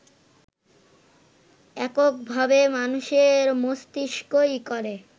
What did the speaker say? এককভাবে মানুষের মস্তিষ্কই করে